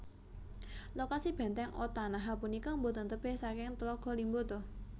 Lokasi Bèntèng Otanaha punika boten tebih saking Tlaga Limboto